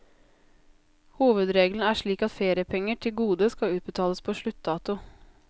Hovedregelen er slik at feriepenger til gode skal utbetales på sluttdato.